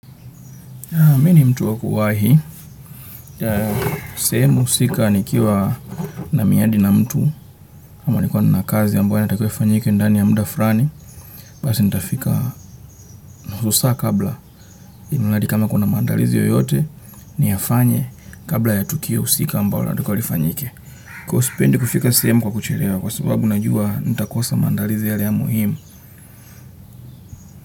Aa mi ni mtu wa kuwahi, sehemu usika nikiwa na miadi na mtu, ama nilikuwa nina kazi ambayo inatakiwa ifanyike ndani ya mda frani, basi nitafika husaa kabla, imladi kama kuna maandalizi yoyote, niyafanye kabla ya tukio usika ambalo nataka lifanyike. Kwa ivo sipendi kufika sehemu kwa kucherewa, kwa sababu najua nitakosa maandalizi yale ya muhimu.